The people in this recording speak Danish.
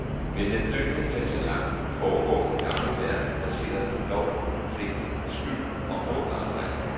Med den døende patriark forgår den gamle verden baseret på lov, pligt, skyld og hårdt arbejde.